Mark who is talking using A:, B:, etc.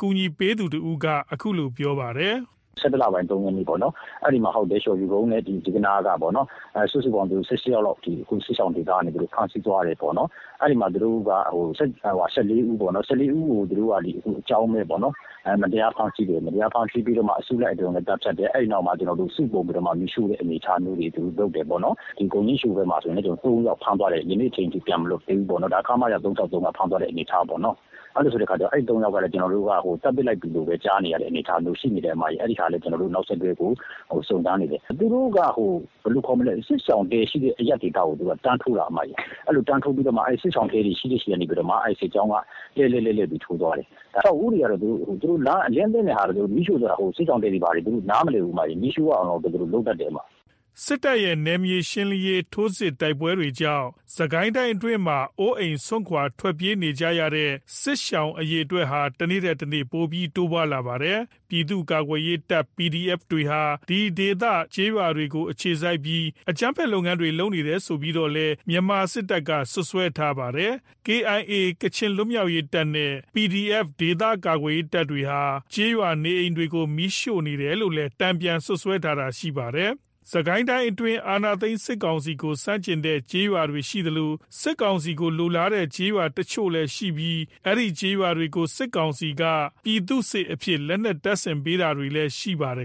A: ကူညီပေး
B: သူတစ်ဦးက ခုလိုပြောပါတယ်။ “၁၁ လပိုင်း ၃ ရက်နေ့ပေါ့နော်၊ အဲ့ဒီမှာ ဇီးကနားနဲ့ လျော်ဖြူကုန်းပေါ့နော် အဲ့က စုစုပေါင်း ၁၈ ယောက်လောက် စစ်ရှောင်ဒေသကနေ သူတို့ ဖမ်းဆိးသွားတယ်ပေါ့နော် ။ အဲ့ဒီမှာ ၁၄ ဦးကို သူတို့က အကြောင်းမဲ့ပေါ့နော်။ သူတို့ကို အကြောင်းမဲ့ ဖမ်းဆီးပြီးတော့ အစုလိုက်အပြုံလိုက် သတ်ဖြတ်တယ်။ အဲ့နောက်မှာ စုပြုံပြီးတော့ မီးရှို့တဲ့ အနေအထားမျိုးတွေ သူတို့လုပ်တယ်ပေါ့နော် ။ ဂုံညှင်းရှိုဖက်မှာဆိုရင်လည်း ၃ ယောက်ဖမ်းသွားတယ် ။ ဒီနေ့အချိန်ထိ ပြန်မလွတ်သေးဘူးပေါ့နော်။ ဒါ ခမရ ၃၆၃ က ဖမ်းသွားတဲ့ အနေအထားပေါ့။ အဲ့ ၃ ယောက်ကလည်း သတ်ပစ်လိုက်ပြီလို့ ကျွန်တော်တို့ ကြားနေရတဲ အနေအထားရှိတယ်။ အဲ့ဒါကို ကျွန်တော်တို့ နောက်ဆက်တွဲ စုံစမ်းနေတယ်။ သူတို့က အခု စစ်ရှောင်တဲ ရှိတဲ့ အရပ်ဒေသကို တန်းထိုးတာ။ အဲ့ကမှ စစ်ရှောင်တဲတွေ ရှိတဲ့ ဖက်ကမှ လှည့်လှည့်ပြီး ထိုးသွားတယ်။ အဆောက်အဦးတွေက အလျဉ်းသင့်သလို မီးရှို့သွားတာ၊ စစ်ရှောင်တဲတွေ ဘာတွေ နားမလည်ဘူး။ မီးရှို့ရအောင်လောက်ပဲ သူတို့ လုပ်တတ်တာ။”
A: စစ်တပ်ရဲ့ နယ်မြေရှင်းလင်းရေး ထိုးစစ်နဲ့ တိုက်ပွဲတွေကြောင့် စစ်ကိုင်းအတွင်းမှာ အိုးအိမ် စွန့်ခွာ ထွက်ပြေးနေကြရတဲ့ စစ်ရှောင် အရေ အတွက်တွေက တနေ့ထက်တနေ့ ပိုပြီးတိုးလာနေပါတယ်။ ပြည်သူ့ ကာကွယ်ရေးတပ် PDF တွေဟာ ဒီဒေသ ကျေးရွာတွေကို အခြေစိုက်ပြီး အကြမ်းဖက် လုပ်ငန်းတွေ လုပ်နေတယ်ဆိုပြီးတော့လည်း မြန်မာစစ်တပ်က စွပ်စွဲပါတယ်။ KIA နဲ့ PDF တွေဟာ ကျေးရွာနေအိမ်တွေကို မီးရှို့တယ်လို့လည်း တန်ပြန်စွပ်စွဲတာရှိပါတယ်။ စစ်ကိုင်းတိုင်းအတွင်း အာဏာသိမ်း စစ်ကောင်စီကို ဆန့်ကျင်တဲ့ကျေးရွာတွေရှိသလို၊ စစ်ကောင်စီကိုလိုလားတဲ့ ကျေးရွာတချို့လည်းရှိနေပြီး အဲဒီကျေးရွာတွေကို စစ်ကောင်စီက ပြည်သူ့စစ်အဖြစ် လက်နက်တပ်ဆင်ပေးတာတွေလည်းရှိခဲ့ပါတယ်